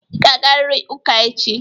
Ị ga-agarịrị ụka echi!